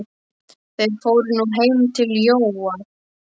Þeir fóru nú heim til Jóa.